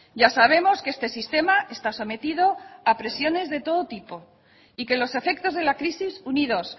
ya sabemos que este sistema está sometido a presiones de todo tipo y que los efectos de la crisis unidos